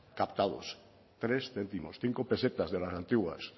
captados tres céntimos cinco pesetas de las antiguas